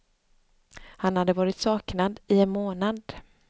Han hade varit saknad i en månad.